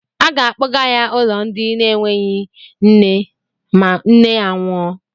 Aga akpọga ya n'ụlọ ndị na-enweghi nne ma nne ya nwụọ.